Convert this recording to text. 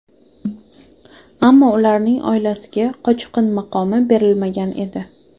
Ammo ularning oilasiga qochqin maqomi berilmagan edi.